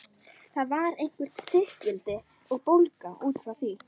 Þar var eitthvert þykkildi og bólga út frá því.